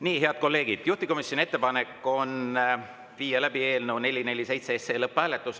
Nii, head kolleegid, juhtivkomisjoni ettepanek on viia läbi eelnõu 447 lõpphääletus.